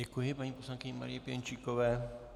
Děkuji paní poslankyni Marii Pěnčíkové.